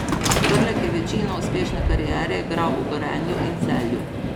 Prlek je večino uspešne kariere igral v Gorenju in Celju.